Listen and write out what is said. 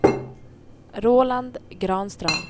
Roland Granström